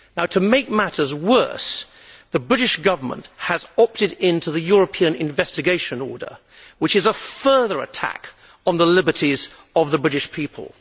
To make matters worse, the British Government has opted into the European Investigation Order, which is a further attack on the liberties of the British people.